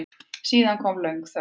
Síðan kom löng þögn.